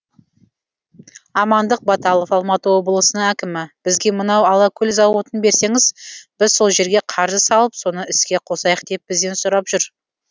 амандық баталов алматы облысының әкімі бізге мынау алакөл зауытын берсеңіз біз сол жерге қаржы салып соны іске қосайық деп бізден сұрап жүр